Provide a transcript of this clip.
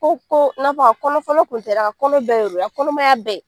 Ko ko n'a fɔ a kɔnɔ fɔlɔ kun tɛ dɛ, a ka kɔnɔ bɛɛ de don , a ka kɔnɔmaya bɛɛ.